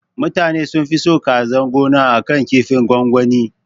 Mutanan sunfi son kazan gona akan kinfin gwangwani